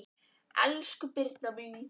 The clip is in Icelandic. Elsku Birna mín.